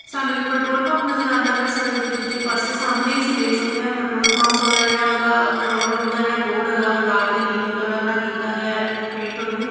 ਸਾਨੂੰ ਇੱਕ petrol pump ਨਜ਼ਰ ਆਉਂਦਾ ਪਿਆ ਸੜਕ ਦੇ ਦੂਜੇ ਪਾਸੇ ਸਾਹਮਣੇ ਅਸੀਂ ਵੇਖ ਸਕਦੇ ਆ ਪੈਟਰੋਲ ਪੰਪ ਹੈਗਾ ਜਿਹੜਾ ਉਹਦਾ ਪੈਟਰੋਲ ਪੰਪ ਦਾ ਜਿਹੜਾ ਬੋਰਡ ਹੈਗਾ ਉਹ ਲਾਲ ਤੇ ਨੀਲੇ ਕਲਰ ਨਾਲ ਕੀਤਾ ਗਿਆ ਪੇਂਟ ਉਹਨੂੰ।